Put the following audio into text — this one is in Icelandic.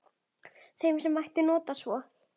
Sem mætti nota sem svo